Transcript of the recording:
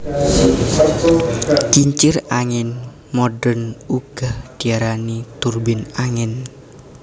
Kincir angin modern uga diarani turbin angin